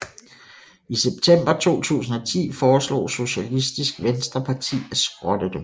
I september 2010 foreslog Sosialistisk Venstreparti at skrotte dem